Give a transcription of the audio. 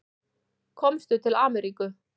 Komstu til Ameríku?